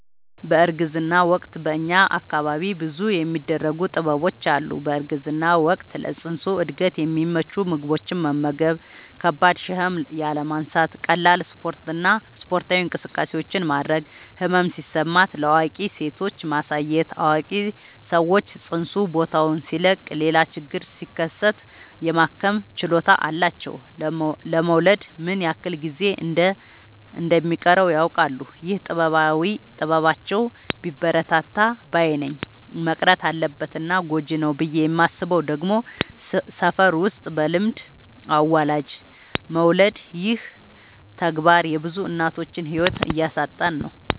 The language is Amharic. በእርግዝና ወቅት በእኛ አካባቢ ብዙ የሚደረጉ ጥበቦች አሉ። በእርግዝና ወቅት ለፅንሱ እድገት የሚመቹ ምግቦችን መመገብ። ከባድ ሸክም ያለማንሳት ቀላል ስፓርታዊ እንቅስቃሴዎችን ማድረግ። ህመም ሲሰማት ለአዋቂ ሴቶች ማሳየት አዋቂ ሰዎች ፅንሱ ቦታውን ሲለቅ ሌላ ችግር ሲከሰት የማከም ችሎታ አላቸው ለመወለድ ምን ያክል ጊዜ እንደ ሚቀረውም ያውቃሉ። ይህ ጥበባቸው ቢበረታታ ባይነኝ። መቅረት አለበት እና ጎጂ ነው ብዬ የማስበው ደግሞ ሰፈር ውስጥ በልምድ አዋላጅ መውለድ ይህ ተግባር የብዙ እናቶችን ህይወት እያሳጣን ነው።